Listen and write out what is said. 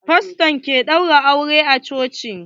Fasto ke ɗaura aure a coci.